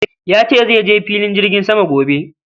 Yace zaije filin jirgin sama gobe